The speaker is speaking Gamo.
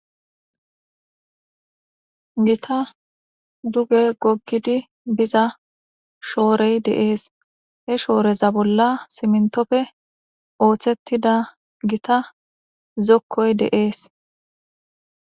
Gita duge gokkidi biza shoorey deees he shooreza bolla simintofe ooththettida gita zokkoy deees.